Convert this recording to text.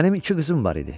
Mənim iki qızım var idi.